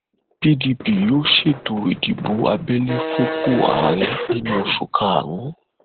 pdp yóò ṣètò ìdìbò abẹlé fúnpọ àárẹ nínú oṣù karùn